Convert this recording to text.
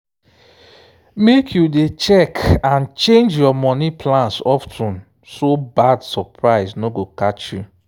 make you dey check and change your money plans of ten so bad surprise no go catch you.